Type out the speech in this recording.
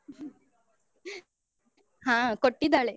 ಹ ಕೊಟ್ಟಿದ್ದಾಳೆ.